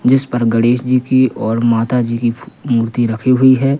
जिस पर गणेश जी की और माता जी की फु मूर्ति रखी हुई है।